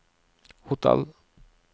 hotell